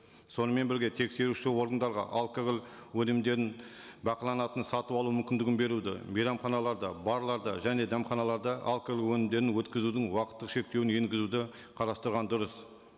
сонымен бірге тексеруші органдарға алкоголь өнімдерін бақыланатын сатып алу мүмкіндігін беруді мейрамханаларда барларда және дәмханаларда алкоголь өнімдерін өткізудің уақыттық шектеуін енгізуді қарастырған дұрыс